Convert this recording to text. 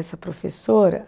Essa professora,